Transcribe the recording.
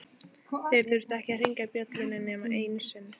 Þeir þurftu ekki að hringja bjöllunni nema einu sinni.